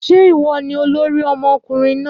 Ṣé ìwọ ni olórí ọmọkùnrin náà?